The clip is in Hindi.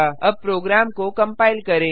अब प्रोग्राम को कंपाइल करें